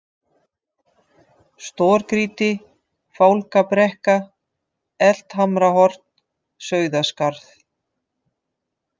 Stórgrýti, Fálkabrekka, Eldhamrahorn, Sauðaskarð